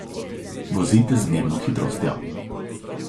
Vozite z zmerno hitrostjo.